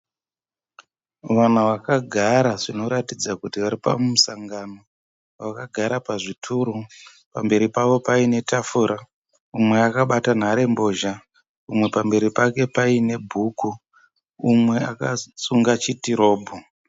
Vanhu vakagara zvinoratidza kuti varipamusangano. Vakagara pazvituru pamberi pavo paine tafura, umwe akabata runhare mbozha, umwe pamberi pake paine bhuku, umwe akasunga chitirobho.